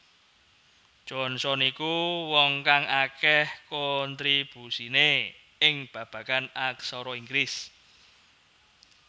Johnson iku wong kang akeh kontribusine ing babagan aksara Inggris